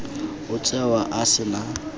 o tsewa a se na